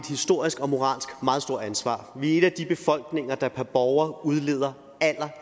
historisk og moralsk meget stort ansvar vi er en af de befolkninger der per borger udleder